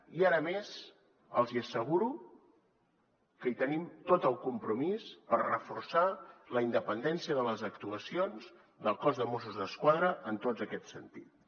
i ara més els hi asseguro que hi tenim tot el compromís per reforçar la independència de les actuacions del cos de mossos d’esquadra en tots aquests sentits